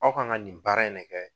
Aw kan ka nin baara in ne kɛ.